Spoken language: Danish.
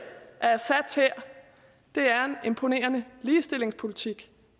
af assads hær det er en imponerende ligestillingspolitik